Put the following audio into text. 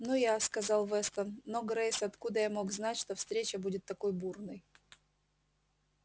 ну я сказал вестон но грейс откуда я мог знать что встреча будет такой бурной